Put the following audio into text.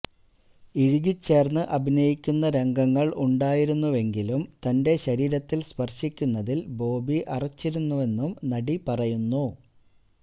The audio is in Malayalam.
ഇഴുകി ചേര്ന്ന് അഭിനയിക്കുന്ന രംഗങ്ങള് ഉണ്ടായിരുന്നുവെങ്കിലും തന്റെ ശരീരത്തില് സ്പര്ശിക്കുന്നതില് ബോബി അറച്ചിരുന്നുവെന്നും നടി പറയുന്നു